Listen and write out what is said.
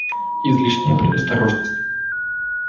излишняя предосторожность